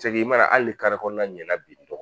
i mana hali ni kari kɔnɔna ɲɛna bi